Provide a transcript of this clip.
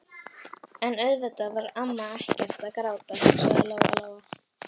En auðvitað var amma ekkert að gráta, hugsaði Lóa-Lóa.